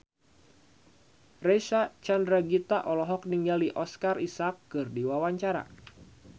Reysa Chandragitta olohok ningali Oscar Isaac keur diwawancara